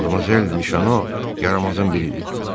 Madmazel Mişano yaramazın biridir.